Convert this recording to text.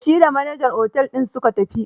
Da shi da manajan otel din su ka tafi.